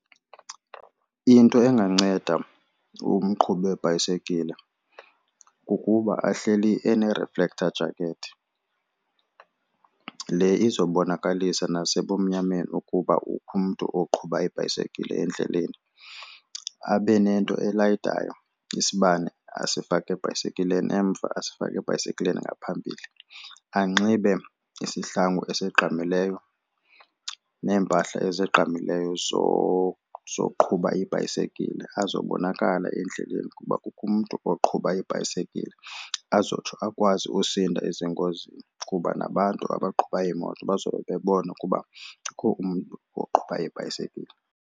Into enganceda umqhubi webhayisikile kukuba ahleli ene-reflector jacket le izobonakalisa nasebumnyameni ukuba kukho umntu oqhuba ibhayisekile endleleni. Abe nento elayitayo isibane asifake ebhayisekileni emva asifake ebhayisekileni ngaphambili. Anxibe isihlangu esigqamileyo neempahla ezigqamileyo zoqhuba ibhayisekile azobonakala endleleni ukuba kukho umntu oqhuba ibhayisekile azotsho akwazi usinda ezingozini kuba nabantu abaqhuba iimoto bazobe bebona ukuba kukho umntu oqhuba ibhayisekile.